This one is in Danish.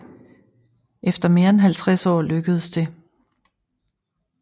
Efter mere end halvtreds år lykkedes det